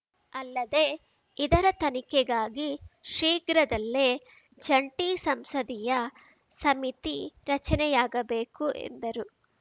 ಅಲ್ಲದೆ ಇದರ ತನಿಖೆಗಾಗಿ ಶೀಘ್ರದಲ್ಲೇ ಜಂಟಿ ಸಂಸದೀಯ ಸಮಿತಿ ರಚನೆಯಾಗಬೇಕು ಎಂದರು